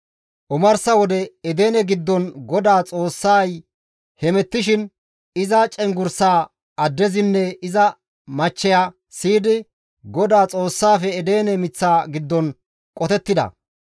Omarsa wode, Edene giddon GODAA Xoossay hemettishin, iza cenggurssaa addezinne iza machcheya siyidi GODAA Xoossaafe Edene miththa giddon qotettida.